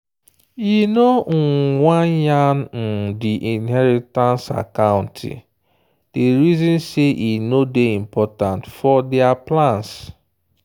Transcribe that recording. e no um wan yan um the inheritance accounte day reason say e no day important for their plans.